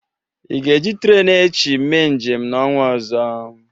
Ị ga-eji trenu echi mee njem n'ọnwa ọzọ?